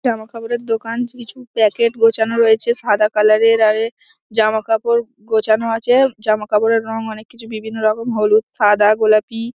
জামাকাপড়ের দোকান কিছু প্যাকেট গোছানো রয়েছে। সাদা কালার -এর আর এ জামাকাপড় গোছানো আছে। জামাকাপড়ের অনেক কিছু বিভিন্ন রকম হ্লুদ সাদা গোলাপি ।